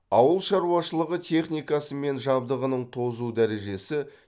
ауыл шаруашылығы техникасы мен жабдығының тозу дәрежесі